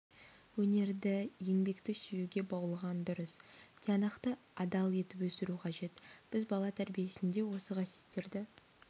өнерді еңбекті сүюге баулыған дұрыс тиянақты адал етіп өсіру қажет біз бала тәрбиесінде осы қасиеттерді